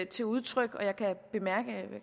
til udtryk og jeg kan